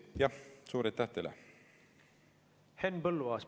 Henn Põlluaas, palun!